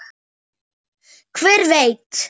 Hver veit